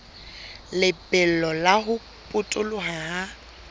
lebelo la ho potoloha ha